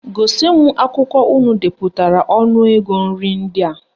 Gosi m akwụkwọ unu depụtara ọnụ ego nri ndị a